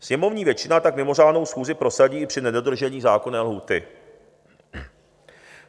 Sněmovní většina tak mimořádnou schůzi prosadí i při nedodržení zákonné lhůty.